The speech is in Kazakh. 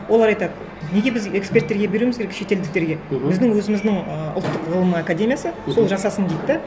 олар айтады неге біз эксперттерге беруіміз керек шетелдіктерге мхм біздің өзіміздің ы ұлттық ғылым академиясы сол жасасын дейді де